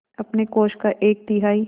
अपने कोष का एक तिहाई